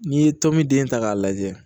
N'i ye tɔn min den ta k'a lajɛ